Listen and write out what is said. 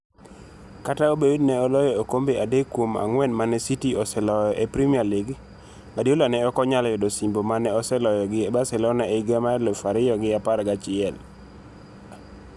Kata obedo ni ne oloyo okombe adek kuom ang'wen ma ne City oseloyo e Premier League, Guardiola ne ok onyalo yudo osimbo ma ne oseloyo gi Barcelona e higa mar aluf ariyo gi apar gi achiel.